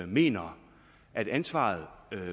mener at ansvaret